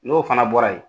N'o fana bɔra yen